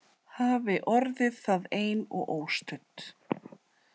Hafi orðið það ein og óstudd.